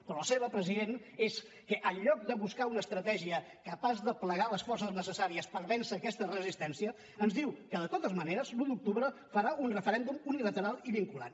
però la seva president és que en lloc de buscar una estratègia capaç d’aplegar les forces necessàries per vèncer aquesta resistència ens diu que de totes maneres l’un d’octubre farà un referèndum unilateral i vinculant